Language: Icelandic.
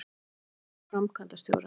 Fjalla um mál framkvæmdastjóra